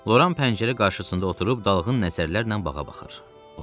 Loran pəncərə qarşısında oturub dalğın nəzərlərlə bağa baxır.